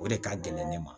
O de ka gɛlɛn ne ma